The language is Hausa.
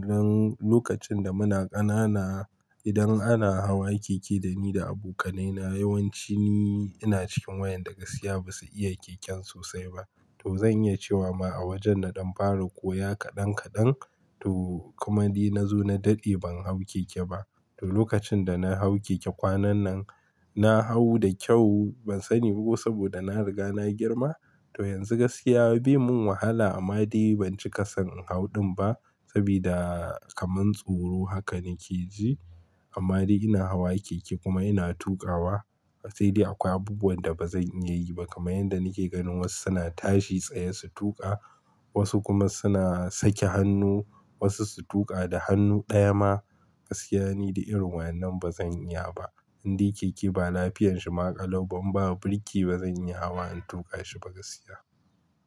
Don lokacin da muna ƙanana, idan ana hawa keke dani da abokanai na yawanci ni ina cikin wa'yan da gaskiya ba su iya keken sosai ba. To zan iya cewa ma a wajen na dan fara koya kaɗan kaɗan, to kuma ni na zo na dade ban hau keke ba. To lokacin da na hau keke kwanan nan, na hau da kyau ban sani ba ko saboda na riga na girma. To yanzu gaskiya de mun wahala amma dai ban cika son in hau ɗin ba, sabida kaman tsoro haka nake ji. Amma dai ina hawa keke kuma ina tuƙawa. Sai dai akwai abubuwan da ba zan iya yi ba, kamar yanda nake ganin wasu suna tashi tsaye su tuƙa, wasu kuma suna sake hannu, wasu su tuƙa da hannu ɗaya ma. Gaskiya ni dai irin wa'yen nan ba zan iya ba. In dai keke ba lafiyan shi ma ƙalau ba, in ba birki ba zan iya hawa in tuƙa shi ba gaskiya.